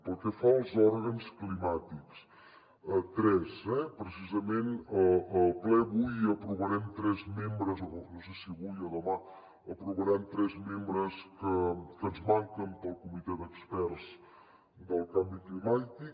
pel que fa als òrgans climàtics tres eh precisament al ple avui aprovaran no sé si avui o demà tres membres que ens manquen per al comitè d’experts del canvi climàtic